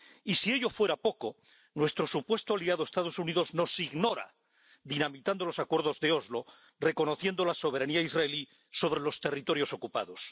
Y, si ello fuera poco, nuestro supuesto aliado, los Estados Unidos, nos ignora, dinamitando los acuerdos de Oslo, reconociendo la soberanía israelí sobre los territorios ocupados.